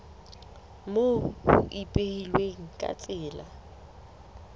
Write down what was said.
moo ho ipehilweng ka tsela